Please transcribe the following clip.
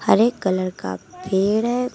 हरे colour का पेड़ है।